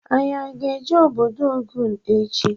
Anyị aga eje ọbọdọ Ogun echi?